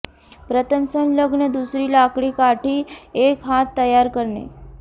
प्रथम संलग्न दुसरी लाकडी काठी एक हात तयार करणे